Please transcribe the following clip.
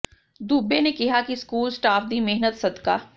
ਦੂਬੇ ਨੇ ਕਿਹਾ ਕਿ ਸਕੂਲ ਸਟਾਫ਼ ਦੀ ਮਿਹਨਤ ਸਦਕਾ